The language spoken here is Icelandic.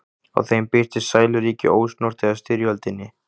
Á þeim birtist sæluríki, ósnortið af styrjöldinni.